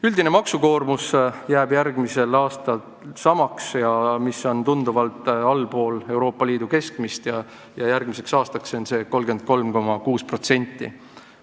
Üldine maksukoormus jääb järgmisel aastal samaks – see on tunduvalt allpool Euroopa Liidu keskmist –, järgmiseks aastaks on ette nähtud 3,6%.